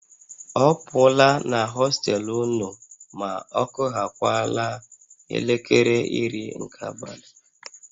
A pụla na hostel ụnụ ma ọkụhakwaala elekere iri nke abalị!